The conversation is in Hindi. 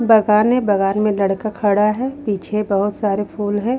बागान है बागान में लड़का खड़ा है पीछे बहुत सारे फूल हैं।